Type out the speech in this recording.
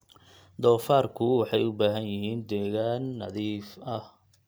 Doofaarku waxay u baahan yihiin deegaan nadiif ah.